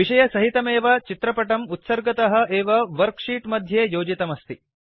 विषयसहितमेव चित्रपटम् उत्सर्गतःडीफाल्ट् एव वर्क् शीट् मध्ये योजितमस्ति